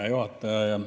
Hea juhataja!